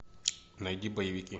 найди боевики